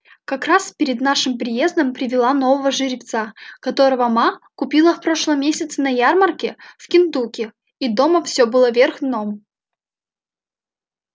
как раз перед нашим приездом привела нового жеребца которого ма купила в прошлом месяце на ярмарке в кентукки и дома все было вверх дном